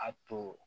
A to